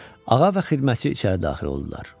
Ağa və xidmətçi içəri daxil oldular.